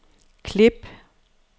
klip